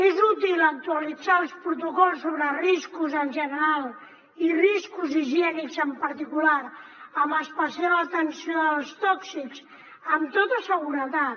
és útil actualitzar els protocols sobre riscos en general i riscos higiènics en particular amb especial atenció als tòxics amb tota seguretat